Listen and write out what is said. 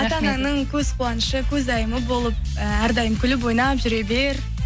ата анаңның көз қуанышы көзайымы болып ііі әрдайым күліп ойнап жүре бер